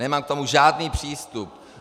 Nemám k tomu žádný přístup.